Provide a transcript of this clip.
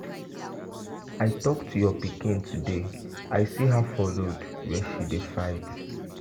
I talk to your pikin today. I see her for road Where she dey fight.